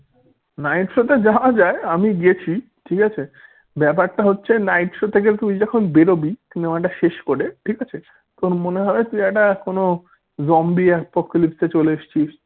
night show তে যাওয়া যায় আমি গেছি ঠিক আছে ব্যাপারটা হচ্ছে night show থেকে তুই যখন বেরোবি cinema টা শেষ করে ঠিক আছে তোর মনে হয় তুই একটা zombie apocalypse চলে এসছিস।